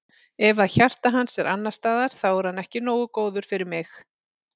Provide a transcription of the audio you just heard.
Ef að hjarta hans er annars staðar þá er hann ekki nógu góður fyrir mig.